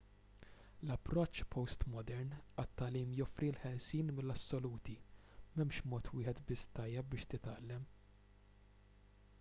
l-approċċ postmodern għat-tagħlim joffri l-ħelsien mill-assoluti m'hemmx mod wieħed biss tajjeb biex titgħallem